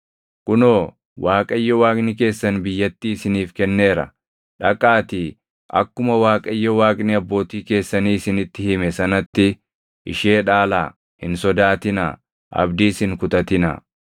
Kunoo, Waaqayyo Waaqni keessan biyyattii isiniif kenneera. Dhaqaatii akkuma Waaqayyo Waaqni abbootii keessanii isinitti hime sanatti ishee dhaalaa; hin sodaatinaa; abdiis hin kutatinaa.”